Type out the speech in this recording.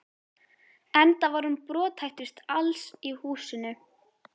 Enda var hún brothættust alls í húsinu.